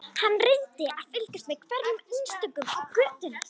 Hann reyndi að fylgjast með hverjum einstökum á götunni.